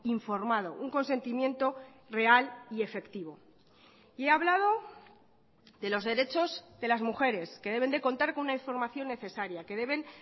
informado un consentimiento real y efectivo y he hablado de los derechos de las mujeres que deben de contar con una información necesaria que deben